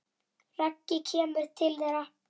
Raggi kemur til þeirra.